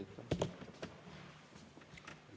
Aitäh!